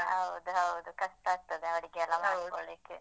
ಹೌದು ಹೌದು, ಕಷ್ಟ ಆಗ್ತದೆ ಅಡುಗೆಯೆಲ್ಲ ಮಾಡ್ಕೊಳ್ಳಿಕ್ಕೆ